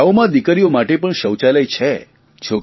હવે શાળાઓમાં દીકરીઓ માટે પણ શૌચાલય છે